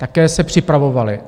Také se připravovaly.